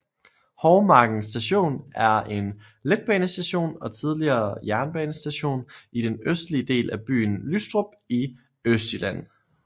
Hovmarken Station er en letbanestation og tidligere jernbanestation i den østlige del af byen Lystrup i Østjylland